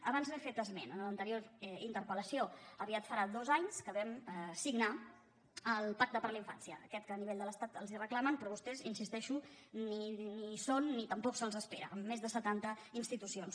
abans n’he fet esment en l’anterior interpel·farà dos anys que vam signar el pacte per la infància aquest que a nivell d’estat els reclamen però vostès hi insisteixo ni hi són ni tampoc se’ls espera amb més de setanta institucions